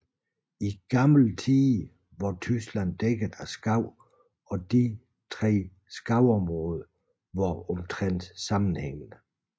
I gamle tider var Tyskland dækket af skov og disse tre skovområder var omtrent sammenhængende